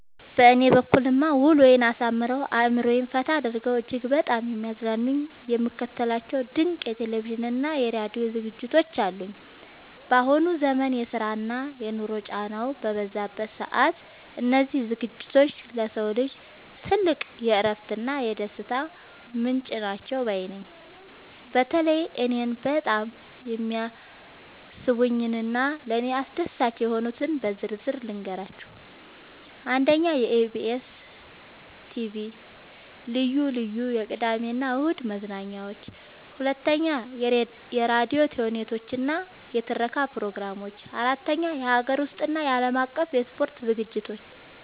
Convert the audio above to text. በእኔ በኩልማ ውሎዬን አሳምረው፣ አእምሮዬን ፈታ አድርገው እጅግ በጣም የሚያዝናኑኝና የምከታተላቸው ድንቅ የቴሌቪዥንና የራዲዮ ዝግጅቶች አሉኝ! ባሁኑ ዘመን የስራና የኑሮ ጫናው በበዛበት ሰዓት፣ እነዚህ ዝግጅቶች ለሰው ልጅ ትልቅ የእረፍትና የደስታ ምንጭ ናቸው ባይ ነኝ። በተለይ እኔን በጣም የሚስቡኝንና ለእኔ አስደሳች የሆኑትን በዝርዝር ልንገራችሁ፦ 1. የኢቢኤስ (EBS TV) ልዩ ልዩ የቅዳሜና እሁድ መዝናኛዎች 2. የራዲዮ ተውኔቶችና የትረካ ፕሮግራሞች 3. የሀገር ውስጥና የዓለም አቀፍ የስፖርት ዝግጅቶች